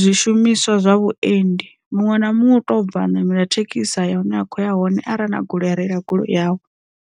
zwishumiswa zwa vhuendi, muṅwe na muṅwe u to bva ṋamela thekhisi ya hune a khou ya hone arali na goloi reila goloi yawe.